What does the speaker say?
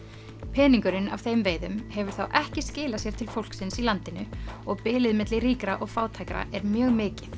peningurinn af þeim veiðum hefur þá ekki skilað sér til fólksins í landinu og bilið milli ríkra og fátækra er mjög mikið